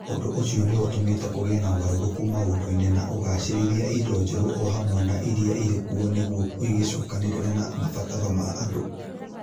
Ũndũ ũcio nĩ ũtũmĩte kũgĩe na ũgarũrũku maũndũ-inĩ na ũgaacĩrithia indo njerũ o hamwe na iria irĩ kuo nĩguo igĩcokanĩrĩre na mabataro ma andũ.